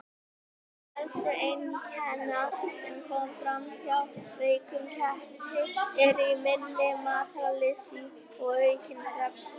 Meðal helstu einkenna sem koma fram hjá veikum ketti eru minni matarlyst og aukin svefnþörf.